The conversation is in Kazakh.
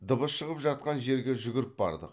дыбыс шығып жатқан жерге жүгіріп бардық